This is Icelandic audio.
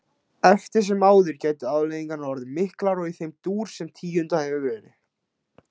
Eftir sem áður gætu afleiðingarnar orðið miklar og í þeim dúr sem tíundað hefur verið.